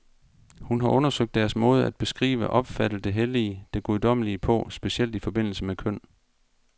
Hun har undersøgt deres måde at beskrive, opfatte det hellige, det guddommelige på, specielt i forbindelse med køn.